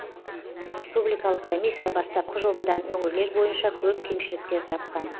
республикалық комиссия бастапқы жобадан өңірлер бойынша көп кемшіліктер тапқан